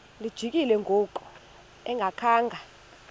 lijikile ngoku engakhanga